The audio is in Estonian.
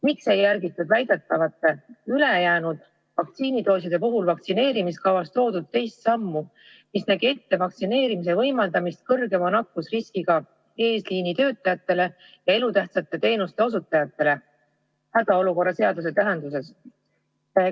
Miks ei järgitud väidetavalt üle jäänud vaktsiinidooside puhul vaktsineerimiskavas esitatud teist sammu, mis nägi ette vaktsineerimise võimaldamise suurema nakkusriskiga eesliinitöötajatele ja elutähtsate teenuste osutajatele ?